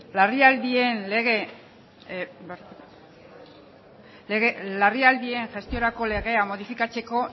larrialdien gestiorako legea modifikatzeko